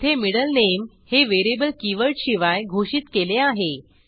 येथे middle name हे variable कीवर्डशिवाय घोषित केले आहे